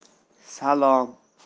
салам